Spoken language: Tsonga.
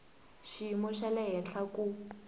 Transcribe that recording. xiyimo xa le henhla ku